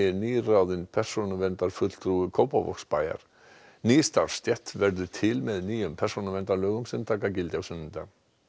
nýráðinn persónuverndarfulltrúi Kópavogsbæjar ný starfsstétt verður til með nýjum persónuverndarlögum sem taka gildi á sunnudag